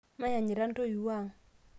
mayanyita ntuiwuo ang'